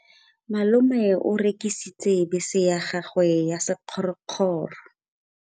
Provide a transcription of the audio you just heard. Malome o rekisitse bese ya gagwe ya sekgorokgoro.